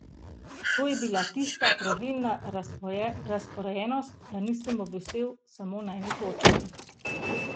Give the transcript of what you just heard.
To je bila tista pravilna razporejenost, da nisem obvisel samo na eni točki.